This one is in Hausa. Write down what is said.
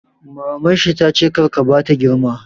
Maman shi tace 'kar ka bata girma'!